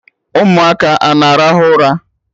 Ụmụaka a na-arahụ ụra?